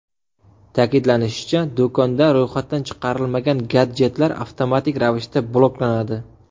Ta’kidlanishicha, do‘konda ro‘yxatdan chiqarilmagan gadjetlar avtomatik ravishda bloklanadi.